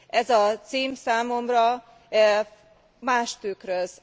Ez a cím számomra mást tükröz.